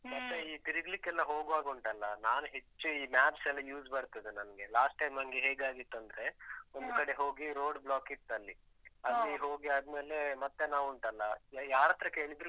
ಮತ್ತೇ ಈ ತಿರುಗ್ಲಿಕ್ಕೆಲ್ಲ ಹೋಗ್ವಾಗುಂಟಲ್ಲ, ನಾನು ಹೆಚ್ಚು ಈ maps ಎಲ್ಲ use ಬರ್ತದೆ ನನ್ಗೆ. last time ನಂಗೆ ಹೇಗಾಗಿತ್ತಂದ್ರೆ ಒಂದು ಕಡೆ ಹೋಗಿ road block ಇತ್ತಲ್ಲಿ ಅಲ್ಲಿ ಹೋಗಿ ಆದ್ಮೇಲೆ ಮತ್ತೆ ನಾವುಂಟಲ್ಲ, ಯಾರತ್ರ ಕೇಳಿದ್ರೂ